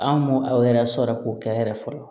An m'o o yɛrɛ sɔrɔ k'o kɛ a yɛrɛ fɔlɔ